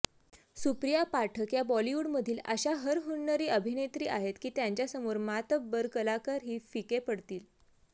सुप्रिया पाठक या बॉलिवूडमधील अशा हरहुन्नरी अभिनेत्री आहेत की त्यांच्यासमोर मात्तबर कलाकारही फिके पडतील